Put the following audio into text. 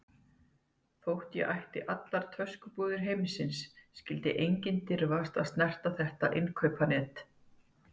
Þótt ég ætti allar töskubúðir heimsins skyldi enginn dirfast að snerta þetta innkaupanet.